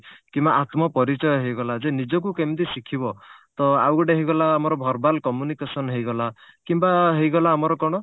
କିମ୍ବା ଆତ୍ମ ପରିଚୟ ହେଇଗଲା ଯେ ନିଜକୁ କେମିତି ଶିଖିବ ତ ଆଉ ଗୋଟେ ହେଇଗଲା ଆମର verbal communication ହେଇଗଲା କିମ୍ବା ହେଇଗଲା ଆମର କଣ